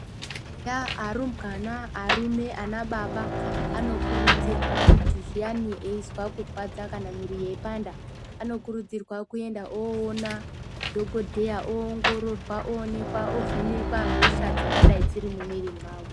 Eya arumbwana, arume, anababa anokurudzirwa kuti zviyani eizwa kurwadza kana mwiiri yeipanda, anokurudzirwa kuenda oona dhagodheya oongororwa oonekwa ovhenekwa hosha dzingadai dziri mumwiiri mwavo.